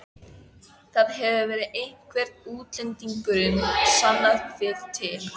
Það hefur verið einhver útlendingurinn, sannið þið til.